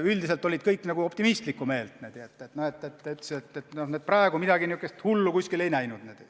Üldiselt olid kõik optimistlikult meelestatud, praegu midagi hullu ei nähta.